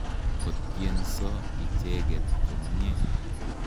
Ko tyenso icheket komnye.